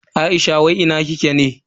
Aisha wai ina kike ne?